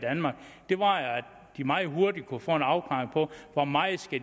de meget hurtigt kunne få en afklaring på hvor meget